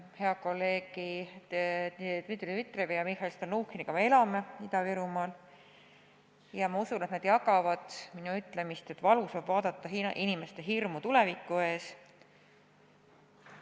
Heade kolleegide Dmitri Dmitrijevi ja Mihhail Stalnuhhiniga me elame Ida-Virumaal ja ma usun, et nad jagavad minu ütlemist, et valus on vaadata inimeste hirmu tuleviku ees.